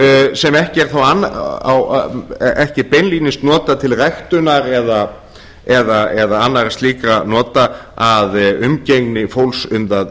sem ekki er beinlínis notað til ræktunar eða annarra slíkra nota að umgengni fólks um það